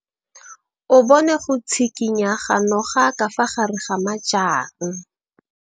O bone go tshikinya ga noga ka fa gare ga majang.